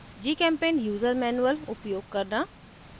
gchempaint user manual उपयोग करना